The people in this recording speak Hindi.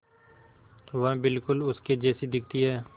वह बिल्कुल उसके जैसी दिखती है